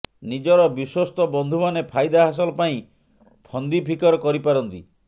ନିଜର ବିଶ୍ୱସ୍ତ ବନ୍ଧୁମାନେ ଫାଇଦା ହାସଲ ପାଇଁ ଫନ୍ଦିଫିକର କରିପାରନ୍ତି